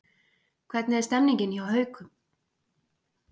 Hvernig er stemningin hjá Haukum?